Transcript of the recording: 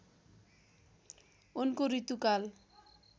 उनको ऋतुकाल